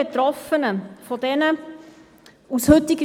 Dann kommen wir direkt zur Abstimmung.